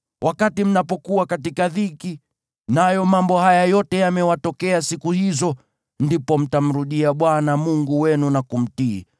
Wakati mnapokuwa katika dhiki, nayo mambo haya yote yamewatokea siku hizo, ndipo mtamrudia Bwana Mungu wenu na kumtii.